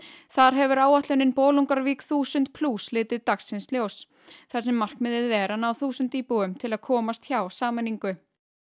þar hefur áætlunin Bolungarvík þúsund plús litið dagsins ljós þar sem markmiðið er að ná þúsund íbúum til að komast hjá sameiningu